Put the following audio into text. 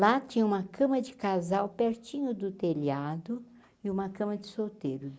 Lá tinha uma cama de casal pertinho do telhado e uma cama de solteiro.